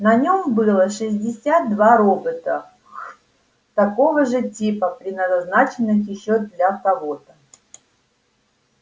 на нём было шестьдесят два робота хм того же типа предназначенных ещё для кого-то